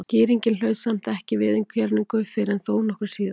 Skýringin hlaut samt ekki viðurkenningu fyrr en þó nokkru síðar.